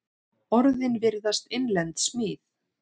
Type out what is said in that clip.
Orðin virðast innlend smíð.